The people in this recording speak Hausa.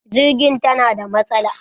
Jirgin tana da matsala.